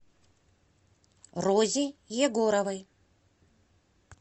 розе егоровой